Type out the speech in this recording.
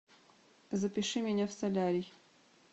запиши меня в солярий